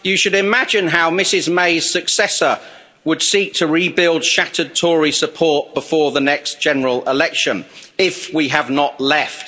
You should imagine how Mrs May's successor would seek to rebuild shattered Tory support before the next general election if we have not left.